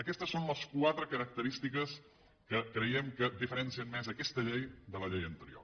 aquestes són les quatre característiques que creiem que diferencien més aquesta llei de la llei anterior